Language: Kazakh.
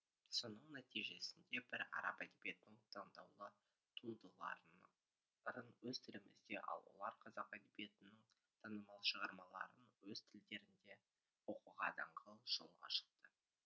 соның нәтижесінде біз араб әдебиетінің таңдаулы туындыларын өз тілімізде ал олар қазақ әдебиетінің танымал шығармаларын өз тілдерінде оқуға даңғыл жол ашылды